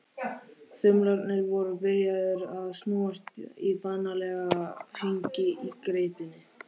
Þumlarnir voru byrjaðir að snúast í vanalega hringi í greipinni.